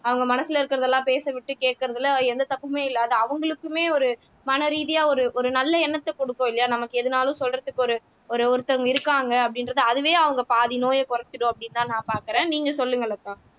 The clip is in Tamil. அவங்க மனசுல இருக்கிறதெல்லாம் பேச விட்டு கேட்கிறதுல எந்த தப்புமே இல்ல அது அவங்களுக்குமே ஒரு மனரீதியா ஒரு ஒரு நல்ல எண்ணத்தை கொடுக்கும் இல்லையா நமக்கு எதுனாலும் சொல்றதுக்கு ஒரு ஒரு ஒருத்தங்க இருக்காங்க அப்படின்றது அதுவே அவங்க பாதி நோயை குறைச்சிடும் அப்படின்னுதான் நான் பார்க்கிறேன் நீங்க சொல்லுங்க லதா